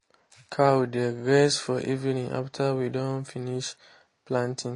cow dey graze for evening after we don finish planting.